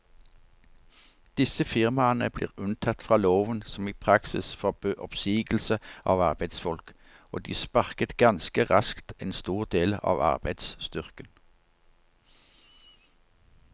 Disse firmaene ble unntatt fra loven som i praksis forbød oppsigelse av arbeidsfolk, og de sparket ganske raskt en stor del av arbeidsstyrken.